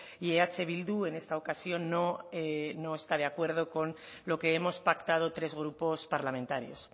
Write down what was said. y eh bildu en esta ocasión no está de acuerdo con lo que hemos pactado tres grupos parlamentarios